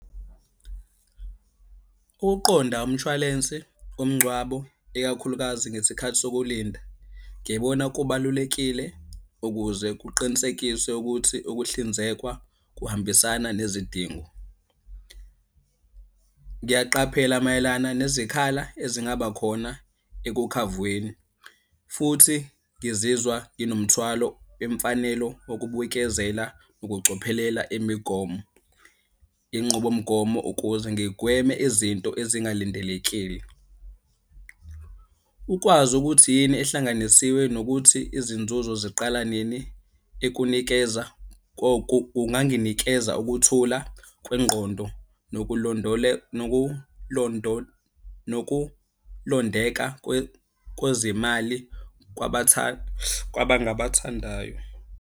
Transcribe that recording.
Ukuqonda umshwalense womngcwabo ikakhulukazi ngesikhathi sokulinda, ngibona kubalulekile ukuze kuqinisekiswe ukuthi ukuhlinzekwa kuhambisana nezidingo. Ngiyaqaphela mayelana nezikhala ezingaba khona ekukhavweni, futhi ngizizwa nginomthwalo wemfanelo wokubuyikezela nokucophelela imigomo. Inqubomgomo ukuze ngigweme izinto ezingalindelekiyo. Ukwazi ukuthi yini ehlanganisiwe nokuthi izinzuzo ziqala nini ekunikeza kunganginikeza ukuthula kwengqondo nokulondeka kwezimali kwabangabathandayo.